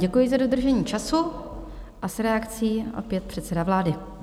Děkuji za dodržení času a s reakcí opět předseda vlády.